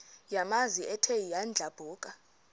yamanzi ethe yadlabhuka